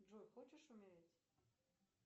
джой хочешь умереть